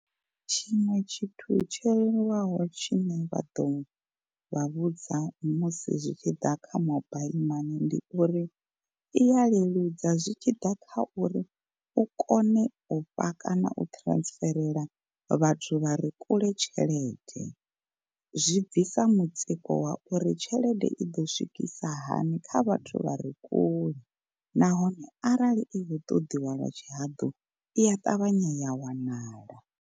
Tshiṅwe tshithu tsho leluwaho tshine vha ḓo vha vhudza musi zwi tshi ḓa kha mobile mani ndi uri, iya leludza zwi tshi ḓa kha uri u kone u fha kana u transferela vhathu vha re kule tshelede. Zwi bvisa mutsiko wa uri tshelede i ḓo swikisa hani kha vhathu vha re kule nahone arali i khou ṱoḓiwa lwa tshihaḓu iya ṱavhanya ya wanala.